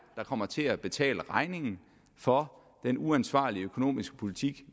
kommer til at betale regningen for den uansvarlige økonomiske politik